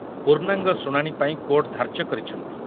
ପୂର୍ଣ୍ଣାଙ୍ଗ ଶୁଣାଣି ପାଇଁ କୋର୍ଟ ଧାର୍ଯ୍ୟ କରିଛନ୍ତି।